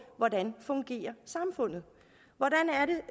hvordan fungerer hvordan